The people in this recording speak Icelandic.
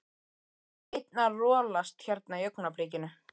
Einn að rolast hérna í augnablikinu.